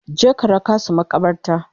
Je ka raka su maƙabarta!